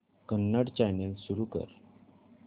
Kannada channel सुरू कर